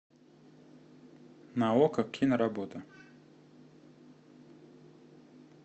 на окко киноработа